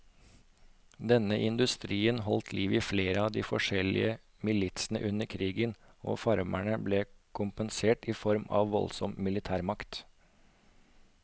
Denne industrien holdt liv i flere av de forskjellige militsene under krigen, og farmerne ble kompensert i form av voldsom militærmakt.